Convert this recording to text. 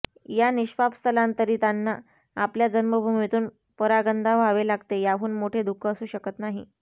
या निष्पाप स्थलांतरितांना आपल्या जन्मभूमीतून परागंदा व्हावे लागते याहून मोठे दुःख असू शकत नाही